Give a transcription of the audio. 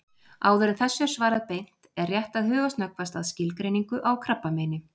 Áður en þessu er svarað beint er rétt að huga snöggvast að skilgreiningu á krabbameini.